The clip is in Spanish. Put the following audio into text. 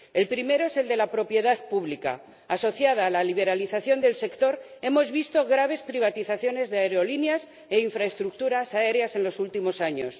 El primero es el de la propiedad pública en conexión con la liberalización del sector, hemos visto graves privatizaciones de aerolíneas e infraestructuras aéreas en los últimos años.